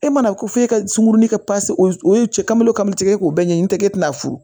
E mana ko f'e ka sunkurunin kɛ o ye cɛ ka o kalo k'o ɲɛɲini n tɛ e tɛna furu